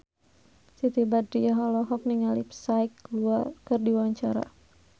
Siti Badriah olohok ningali Psy keur diwawancara